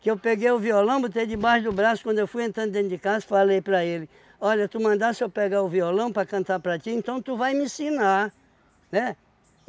que eu peguei o violão, botei debaixo do braço, quando eu fui entrando dentro de casa, falei para ele, olha, tu mandasse eu pegar o violão para cantar para ti, então tu vai me ensinar, né?